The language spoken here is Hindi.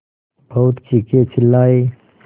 बहुत चीखेचिल्लाये